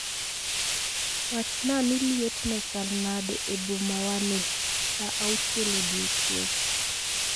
Wachnaa ni liet ne chal nade ebomawani sa auchiel odiechieng'